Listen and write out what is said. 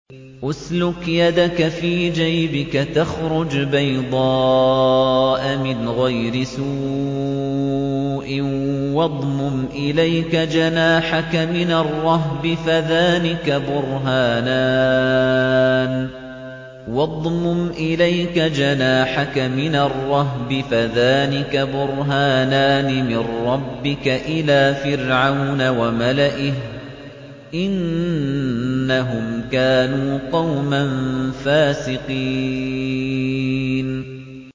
اسْلُكْ يَدَكَ فِي جَيْبِكَ تَخْرُجْ بَيْضَاءَ مِنْ غَيْرِ سُوءٍ وَاضْمُمْ إِلَيْكَ جَنَاحَكَ مِنَ الرَّهْبِ ۖ فَذَانِكَ بُرْهَانَانِ مِن رَّبِّكَ إِلَىٰ فِرْعَوْنَ وَمَلَئِهِ ۚ إِنَّهُمْ كَانُوا قَوْمًا فَاسِقِينَ